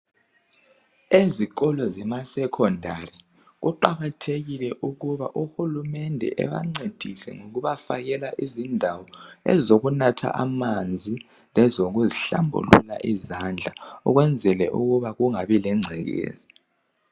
Ezikolo zema secondary kuqakathekile ukuba UHulumende ebancedise ngokubafakela izindawo ezokunatha amanzi lezokuz'hlambulula izandla ukwenzela ukuba kungabi lengcekeza